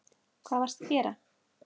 Hvað varstu að gera?